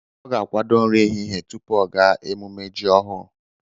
Ọ ga-akwadó nri ehihie tupu ọ gaa emume ji ọhụrụ